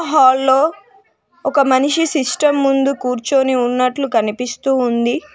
Hello ఒక మనిషి system ముందు కూర్చొని ఉన్నట్లు కనిపిస్తూ ఉంది.